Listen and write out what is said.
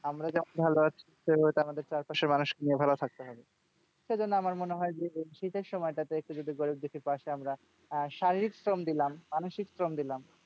আমরা যেমন ভালো আছি তো আমাদের চারপাশের মানুষকে নিয়ে ভালো থাকতে হবে। সেইজন্য আমার মনে হয় যে শীতের সময়টাতে একটু যদি গরীব দুঃখীর পাশে আমরা আহ শারীরিক শ্রম দিলাম মানসিক শ্রম দিলাম,